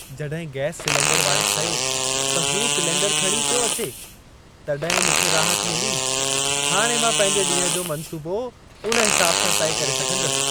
जॾहिं gas cylinder वारे चयो त हू सिलेंडरु खणी पियो अचे, तॾहिं मूंखे राहत मिली। हाणे मां पंहिंजे ॾींहं जो मंसूबो उन हिसाब सां तइ करे सघंदसि।